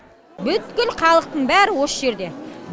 бүткіл халықтың бәрі осы жерде